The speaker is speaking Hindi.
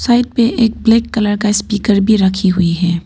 पे एक ब्लैक कलर का स्पीकर भी रखी हुई है।